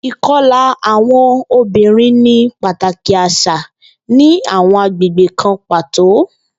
Ikọla awọn obinrin ni pataki aṣa ni awọn agbegbe kan pato.